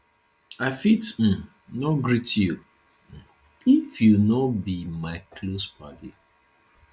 i fit um no greet you um if you no be my close paddy